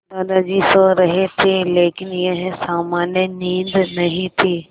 दादाजी सो रहे थे लेकिन यह सामान्य नींद नहीं थी